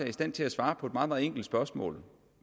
i stand til at svare på et meget meget enkelt spørgsmål